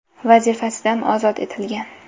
vazifasidan ozod etilgan.